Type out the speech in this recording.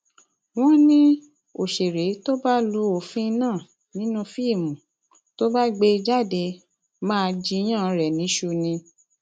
wọn ní òṣèré tó bá lu òfin náà nínú fíìmù tó bá gbé jáde máa jiyàn rẹ níṣu ni